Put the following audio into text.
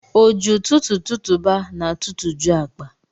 O ji ụtụtụ tụtụba n'atụtụjụ akpa.